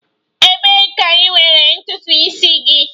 Ebee ka ị nwere ntutu isi gị?